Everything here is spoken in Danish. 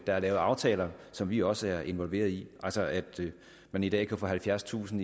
er lavet aftaler som vi også er involveret i altså at man i dag kan få halvfjerdstusind